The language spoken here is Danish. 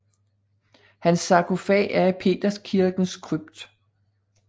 Hans sarkofag er i Peterskirkens krypt